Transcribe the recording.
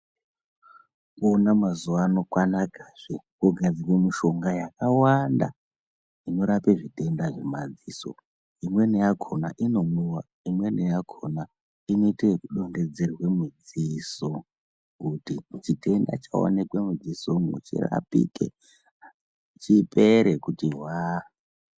Mazuvano kwanakazve kogadzirwe mishonga yakawanda inorape zvitenda zvemadziso, imweni yakona inomwiwa, imweni yakona inoite kudonhedzerwa mudziso kuti chitenda chaonekwa mudziso umu chirapike, chipere kuti hwaa.